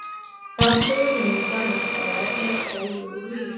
Rafsegull er myndaður með því að vefja spólu úr vír.